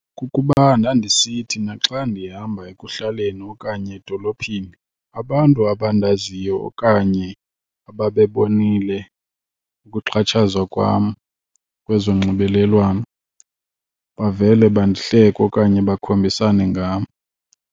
Kukuba ndandisithi naxa ndihamba ekuhlaleni okanye edolophini, abantu abandaziyo okanye ababebonile ukuxhatshazwa kwam kwezonxibelelwano bavele bandihleke okanye bakhombisane ngam.